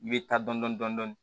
I bɛ taa dɔn dɔn dɔn dɔni